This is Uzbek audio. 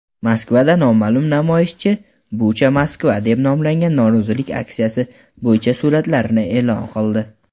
Moskvada noma’lum namoyishchi "Bucha-Moskva" deb nomlangan norozilik aksiyasi bo‘yicha suratlarini e’lon qildi.